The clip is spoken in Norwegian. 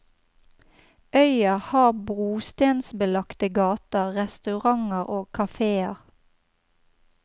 Øya har brostensbelagte gater, restauranter og kaféer.